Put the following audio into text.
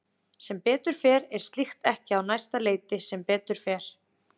Sem betur fer er slíkt ekki á næsta leiti sem betur fer.